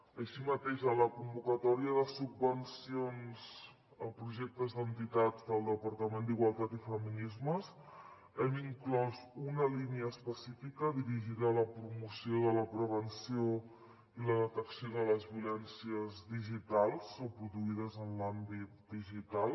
així mateix a la convocatòria de subvencions a projectes d’entitats del departament d’igualtat i feminismes hem inclòs una línia específica dirigida a la promoció de la prevenció i la detecció de les violències digitals o produïdes en l’àmbit digital